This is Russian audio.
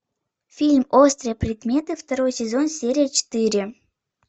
фильм острые предметы второй сезон серия четыре